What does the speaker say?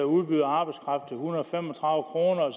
udbyder arbejdskraft til en hundrede og fem og